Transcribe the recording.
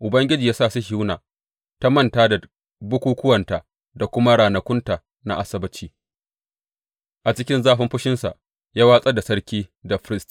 Ubangiji ya sa Sihiyona ta manta da bukukkuwanta da kuma ranakunta na Asabbaci; a cikin zafin fushinsa ya watsar da sarki da firist.